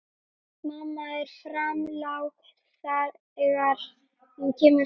Mamma er framlág þegar hún kemur fram.